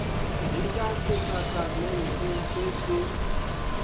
le ka setatamentse se se